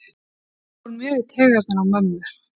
Það fór mjög í taugarnar á mömmu.